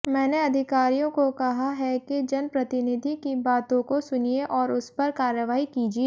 मैंने अधिकारियों को कहा है कि जनप्रतिनिधि की बातों को सुनिए और उसपर कार्रवाई कीजिए